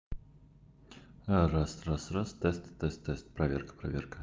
раз раз раз тест тест тест проверка проверка